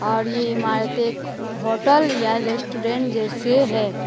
और ये इमारतें एक होटल या रेस्टोरेंट जैसे है।